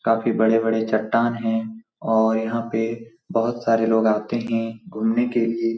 काफी बड़े-बड़े चट्टान हैं और यहाँ पे बहुत सारे लोग आते हैं घुमने के लिए।